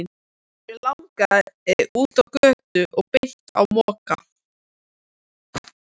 Mig langaði út á götu og beint á Mokka.